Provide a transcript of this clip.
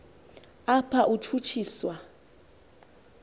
apha utshutshi swa